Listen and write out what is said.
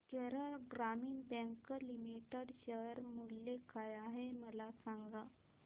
केरळ ग्रामीण bank limited share मूल्य काय आहे मला सांगा